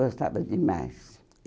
Gostava demais.